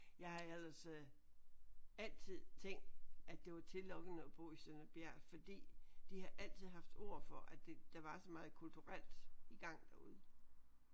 Jeg har ellers øh altid tænkt at det var tillokkende at bo i Sønder Bjert fordi de har altid haft ord for at det der var så meget kulturelt i gang derude